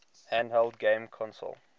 handheld game consoles